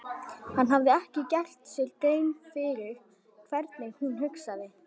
Hann hafði ekki gert sér grein fyrir hvernig hún hugsaði.